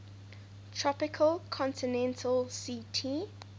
tropical continental ct